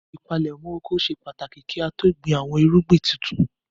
Ìpalẹ́mọ́ oko ṣe pàtàkì kí á tó gbin àwọn irúgbìn tuntun.